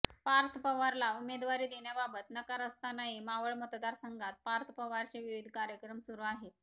पार्थ पवारला उमेदवारी देण्याबाबत नकार असतानाही मावळ मतदारसंघात पार्थ पवारचे विविध कार्यक्रम सुरू आहेत